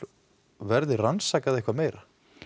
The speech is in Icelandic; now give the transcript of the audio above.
verði rannsakað eitthvað meir